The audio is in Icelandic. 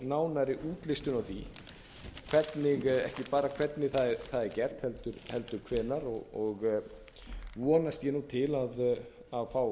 nánari útlistun á því ekki bara hvernig það er gert heldur hvenær og vonast ég til að fá